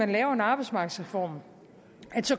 vi laver en arbejdsmarkedsreform